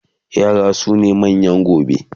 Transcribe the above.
yara sune manyan gobe